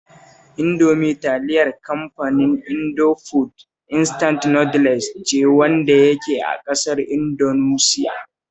Indomie talilar kamfanin Indofood Instant Noodles ce wanda yake a ƙasar Indunusiya